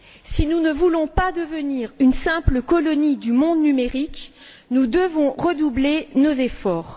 Si nous ne voulons pas devenir une simple colonie du monde numérique, nous devons redoubler nos efforts.